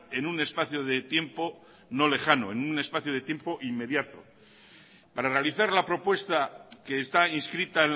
en un espacio de tiempo no lejano en un espacio de tiempo inmediato para analizar la propuesta que está inscrita